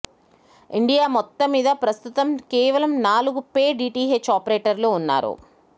India మొత్తం మీద ప్రస్తుతం కేవలం నాలుగు పే డిటిహెచ్ ఆపరేటర్లు ఉన్నారు